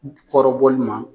U kɔrɔbɔli ma.